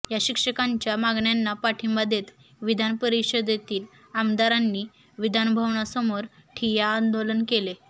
या शिक्षकांच्या मागण्यांना पाठिंबा देत विधान परिषदेतील आमदारांनी विधानभवनासमोर ठिय्या आंदोलन केले